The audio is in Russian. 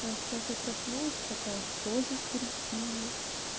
а сейчас я проснулась такая что за старики